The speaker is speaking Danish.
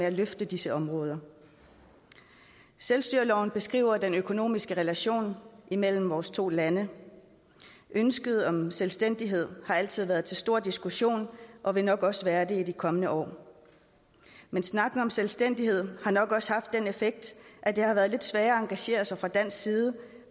at løfte disse områder selvstyreloven beskriver den økonomiske relation imellem vores to lande ønsket om selvstændighed har altid været til stor diskussion og vil nok også være det i de kommende år men snakken om selvstændighed har nok også haft den effekt at det har været lidt sværere at engagere sig fra dansk side